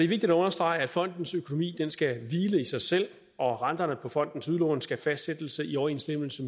vigtigt at understrege at fondens økonomi skal hvile i sig selv og at renterne på fondens udlån skal fastsættes i overensstemmelse